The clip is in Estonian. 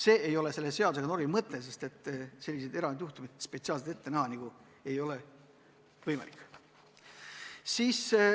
See ei ole selle seadusnormi mõte ja kõiki võimalikke erandjuhtumeid ette näha ei ole võimalik.